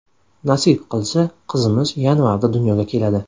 Nasib qilsa, qizimiz yanvarda dunyoga keladi.